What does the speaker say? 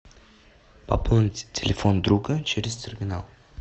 пополнить телефон друга через терминал